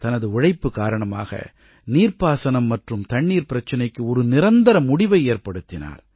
தனது உழைப்பு காரணமாக நீர்ப்பாசனம் மற்றும் தண்ணீர் பிரச்சினைக்கு ஒரு நிரந்தர முடிவை ஏற்படுத்தினார்